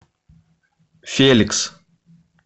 феликс